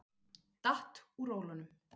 Datt úr rólunum.